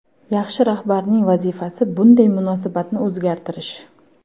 Yaxshi rahbarning vazifasi bunday munosabatni o‘zgartirish”.